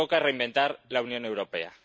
Toca reinventar la Unión Europea.